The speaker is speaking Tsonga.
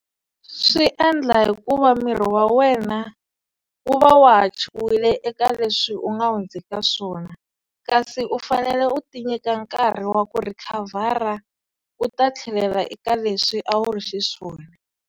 Swi endla hikuva miri wa wena wu va wa ha chuhile eka leswi u nga hundza eka swona kasi u fanele u ti nyika nkarhi wa ku recover-a u ta tlhelela eka leswi a wu ri xiswona.